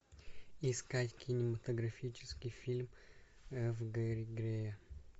искать кинематографический фильм ф гэри грея